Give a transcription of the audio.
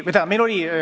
See on hea küsimus.